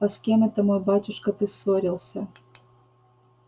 а с кем это мой батюшка ты ссорился